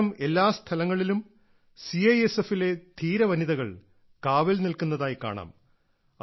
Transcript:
ഇത്തരം എല്ലാ സ്ഥലങ്ങളിലും CISFലെ ധീര വനിതകൾ കാവൽ നിൽക്കുന്നതായി കാണാം